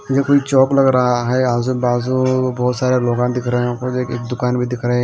ये कोई चौक लग रहा है आज बाजू बहुत सारे लोग दिख रहे हैं एक दुकान भी दिख रहे हैं।